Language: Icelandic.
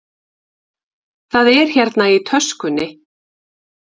Það er hérna í töskunni.